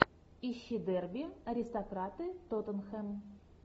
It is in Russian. ищи дерби аристократы тоттенхэм